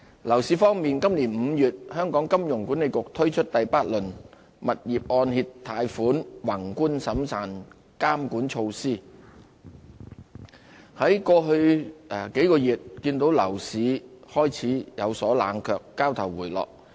樓市方面，今年5月香港金融管理局推出第八輪物業按揭貸款宏觀審慎監管措施，在過去數個月，看到樓市開始有所冷卻，交投回落。